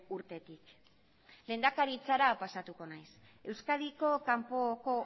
urtetik lehendakaritzara pasatuko naiz euskadiko kanpoko